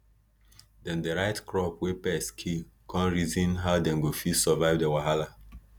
dem dey write crop wey pests kill come reason how dem go fit solve di wahala